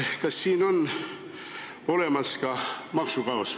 Kas siin on olemas maksukaos?